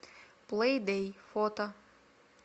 плэйдэй фото